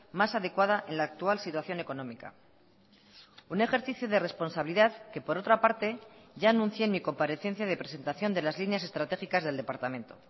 más adecuada en la actual situación económica un ejercicio de responsabilidad que por otra parte ya anuncié en mi comparecencia de presentación de las líneas estratégicas del departamento